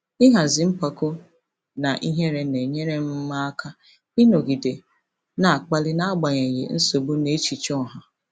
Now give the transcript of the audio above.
Ịhazi mpako na ihere na-enyere m m aka ịnọgide na-akpali n'agbanyeghị nsogbu na echiche ọha.